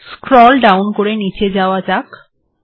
scroll down করে নীচে যাওয়া যাক